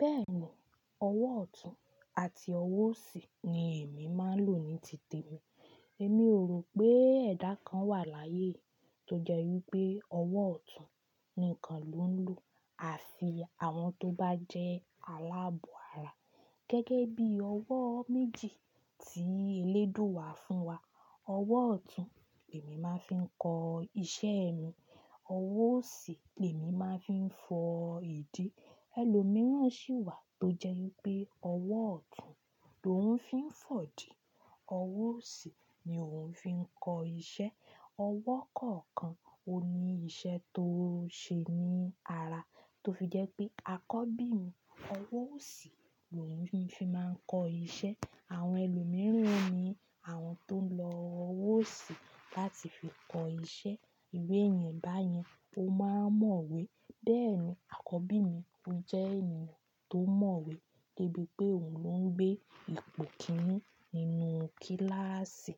Bẹ́ẹ̀ni, ọwọ́ ọ̀tún àti ọwọ́ òsì ni èmi máa ń lò ní tìtẹ̀ mi. Èmi ò rò pé ẹ̀dá kan wà láyé tó jẹ́ wípé ọwọ́ ọ̀tún nìkan ló ń lò àfi àwọn tó bá jẹ́ aláàbọ̀ara. Gẹ́gẹ́ bí ọwọ́ méjì tí eléèdúa wá fún wa. Ọwọ́ ọ̀tún èmi máa ń fi kọ iṣẹ́ mi, ọwọ́ òsì èmi máa ń fi fọ ìdí. Ẹ̀lọ́ mìíràn sì wà tó jẹ́ wípé ọwọ́ ọ̀tún ló ń fi ń fọ̀dí, ọwọ́ òsì ni òun fi ń kọ iṣẹ́. Ọwọ́ kọ̀ọ̀kan òní iṣẹ́ tó ṣe ní ara tó fi jẹ́ pé akọ́bí mi ọwọ́ òsì ló hún fi máa ń kọ iṣẹ́. Àwọn ẹlòmíràn ni àwọn tó ń lo ọwọ́ òsì láti fi kọ iṣẹ́. Ìru yẹn báyẹn ó máa ń mọ̀wé. Bẹ́ẹ̀ni akọ́bí mi ó jẹ́ ènìyàn tó mọ̀wé gẹ́gẹ́ bí pé òun ló ń gbé ipò kíní nínú kíláàsì.